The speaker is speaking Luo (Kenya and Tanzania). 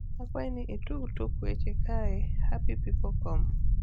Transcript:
akwai ni i tugo tuk weche kaae happypeoplecom